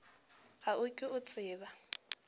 ga o ke o tseba